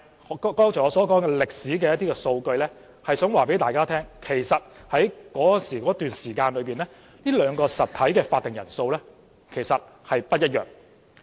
我剛才說出歷史數據，是想告訴大家，在這段時間這兩個實體的會議法定人數是不一樣的。